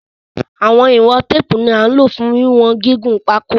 Awọn iwọn teepu ni a lo fun wiwọn gigun pako